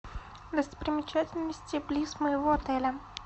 достопримечательности близ моего отеля